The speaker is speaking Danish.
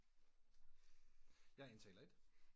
Jeg er indtaler et